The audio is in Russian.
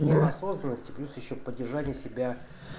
неосознанность плюс ещё поддержания себя